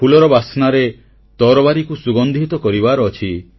ଫୁଲର ବାସ୍ନାରେ ତରବାରୀକୁ ସୁଗନ୍ଧିତ କରିବାର ଅଛି